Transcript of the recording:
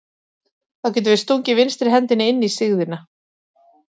Þá getum við stungið vinstri hendinni inn í sigðina.